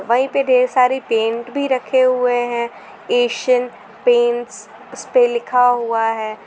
वहीं पे ढेर सारी पेंट भी रखे हुए हैं एशियन पेंट्स उसपे लिखा हुआ है।